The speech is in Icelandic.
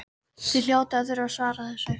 Þið hljótið að þurfa að svara þessu?